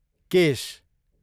केश